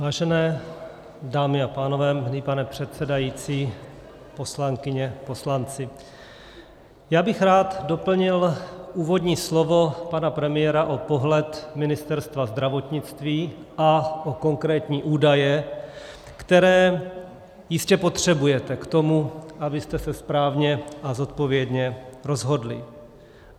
Vážené dámy a pánové, milý pane předsedající, poslankyně, poslanci, já bych rád doplnil úvodní slovo pana premiéra o pohled Ministerstva zdravotnictví a o konkrétní údaje, které jistě potřebujete k tomu, abyste se správně a zodpovědně rozhodli.